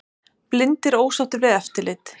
Blindir ósáttir við eftirlit